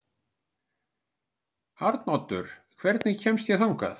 Arnoddur, hvernig kemst ég þangað?